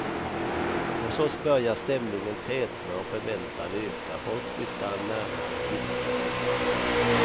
Hos oss börjar stämningen tätna och förväntan öka, folk flyttar närmare bildskärmen.